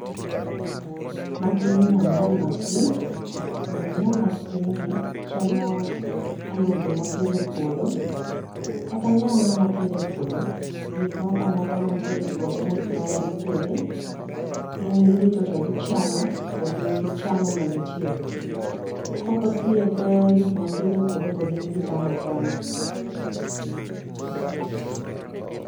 Magi nyam nyam mag piny, to nyam nyam mag pinygi chamo alode mw apidho e puodho kata nyanya mwa pidho e puodho, gik moko amoka mantiere e puodho mopidhi, gin girito to gichamo, to gichamo ma gitiek. Kok othiedh gik mwa pidho e puodho to gin gichamo achama.